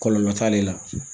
Kɔlɔlɔ t'ale la